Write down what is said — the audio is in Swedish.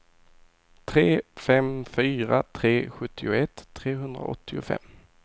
tre fem fyra tre sjuttioett trehundraåttiofem